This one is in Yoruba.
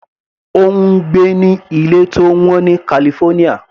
Ó ń gbé ní ilé tó wọ́n ní California.